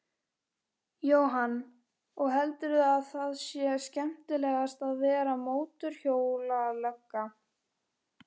Jóhann: Og heldurðu að það sé skemmtilegast að vera mótorhjólalögga?